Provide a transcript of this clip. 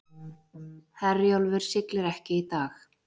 Herjólfur siglir ekki í dag